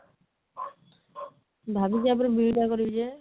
ଭାବିଛି ୟା ପରେ BED କରିବି ଯେ